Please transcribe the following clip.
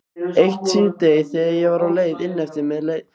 Eitt síðdegi þegar ég var á leið inneftir með